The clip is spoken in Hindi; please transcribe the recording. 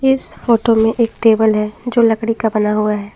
इस फोटो में एक टेबल है जो लकड़ी का बना हुआ है।